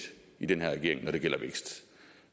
i den her regering når det gælder vækst